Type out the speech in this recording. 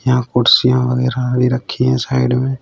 यहां कुर्सियां वगैरा भी रखी हैं साइड में।